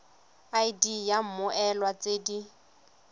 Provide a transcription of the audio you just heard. id ya mmoelwa tse di